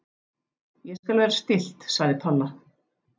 Ég skal vera stillt sagði Palla.